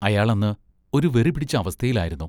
അയാൾ അന്ന് ഒരു വെറിപിടിച്ച അവസ്ഥയിലായിരുന്നു.